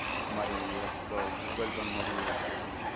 તમારી app google પર મળી રેહશે?